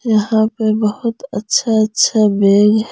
यहां पर बहुत अच्छा अच्छा बैग --